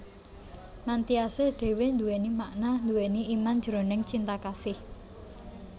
Mantyasih dhéwé nduwèni makna nduwèni iman jroning Cinta Kasih